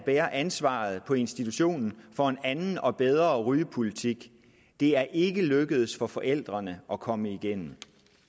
bære ansvaret på institutionen for en anden og bedre rygepolitik det er ikke lykkedes for forældrene at komme igennem